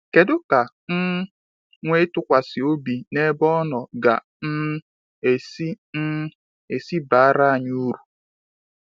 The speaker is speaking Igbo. kedụ ka um ịnwe ntukwasi obi n'ebe ono ga um esi um esi bara anyị uru?